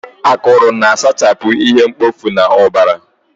Akụrụ na-asachapụ ihe mkpofu n'ọbara.